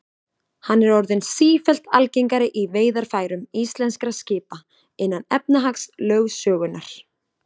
Hann er orðinn sífellt algengari í veiðarfærum íslenskra skipa innan efnahagslögsögunnar.